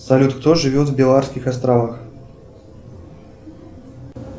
салют кто живет в беларских островах